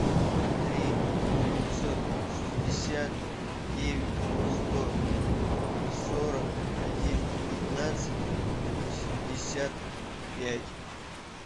три девятьсот шестьдесят девять сто сорок один пятнадцать восемьдесят пять